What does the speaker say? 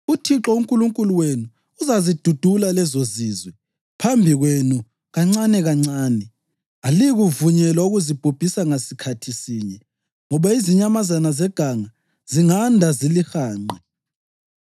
UThixo uNkulunkulu wenu uzazidudula lezozizwe phambi kwenu kancanekancane. Aliyikuvunyelwa ukuzibhubhisa ngasikhathi sinye ngoba izinyamazana zeganga zinganda zilihanqe.